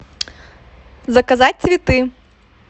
заказать цветы